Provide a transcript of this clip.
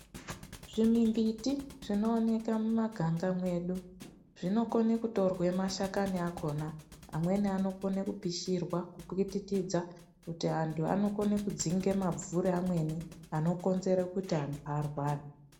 Zvimimbiti zvinooneka mumaganga mwedu, zvinokone kutorwa mashakani akhona amweni anokona kupishirwa , kupwititidza kuti antu anonokana kudzinga mabvuri amweni ,anokonzera kuti antu arware.